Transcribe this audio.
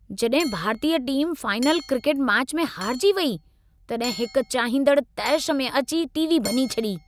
जॾहिं भारतीय टीमु फ़ाइनल क्रिकेट मैच में हारिजी वेई, तॾहिं हिक चाहींदड़ु तैशु में अची टी.वी. भञी छॾी।